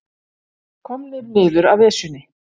Komnir niður af Esjunni